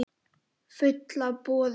Fulla af boðum.